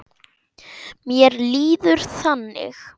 Mér líður þannig.